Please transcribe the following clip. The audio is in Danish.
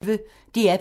DR P1